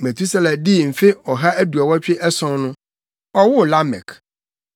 Metusela dii mfe ɔha aduɔwɔtwe ason no, ɔwoo Lamek.